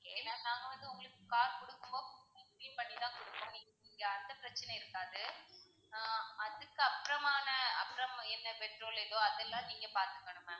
ஏன்னா நாங்க வந்து உங்களுக்கு கார் குடுக்கும் போது உங்களுக்கு clean பண்ணி தான் குடுப்போம் அந்த பிரச்சனை இருக்காது. ஆஹ் அதுக்கு அப்பறமான அப்பறம் என்ன பெட்ரோல் எதுவோ அதலாம் நீங்க பாத்துக்கணும் ma'am.